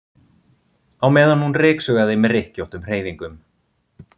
á meðan hún ryksugaði með rykkjóttum hreyfingum.